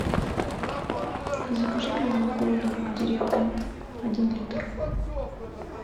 закажи мне молоко домик в деревне один литр